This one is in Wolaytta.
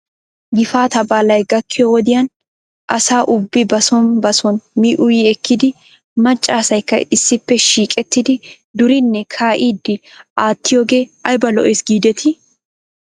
Gifaataa baaly gakkiyoo wodiyan asa ubbi bason bason mi uyi ekkidi macca asaykka issippe shiiqettidi duriinne kaa'iiddi aattiyoogee ayba lo'es giidetii?